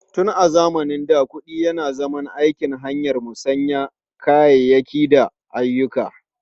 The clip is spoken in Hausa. Tun zamanin da, kuɗi yana aiki azaman hanyar musayar kayayyaki da ayyuka.